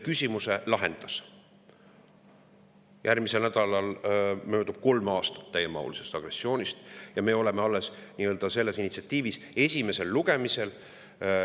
Järgmisel nädalal möödub kolm aastat täiemahulisest agressioonist, ja me oleme selle initsiatiiviga alles esimesel lugemisel.